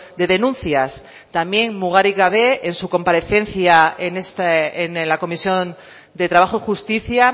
de denuncias también mugarik gabe en su comparecencia en la comisión de trabajo y justicia